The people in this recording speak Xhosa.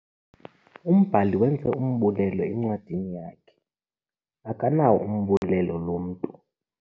Umbhali wenze umbulelo encwadini yakhe. akanawo umbulelo lo mntu